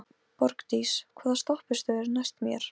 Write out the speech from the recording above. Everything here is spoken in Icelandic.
Borgdís, hvaða stoppistöð er næst mér?